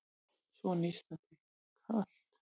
Svo nístandi kalt.